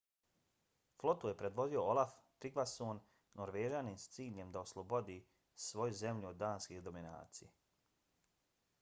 flotu je predvodio olaf trygvasson norvežanin s ciljem da oslobodi svoju zemlju od danske dominacije